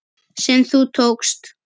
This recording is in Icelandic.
sem þú tókst.